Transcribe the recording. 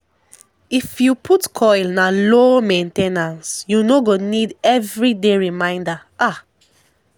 if you put coil na low main ten ance --u no go need everyday reminder ah